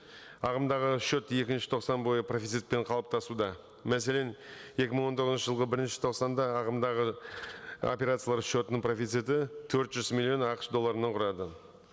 ағымдағы шот екінші тоқсан бойы профицитпен қалыптасуда мәселен екі мың он тоғызыншы жылғы бірінші тоқсанда ағымдағы операциялар шотының профициті төрт жүз миллион ақш долларын құрады